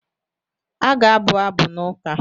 A ga-abụ abụ n’ụka.